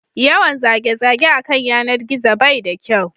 Yawan zage zage a kan yanar gizo bai da kyau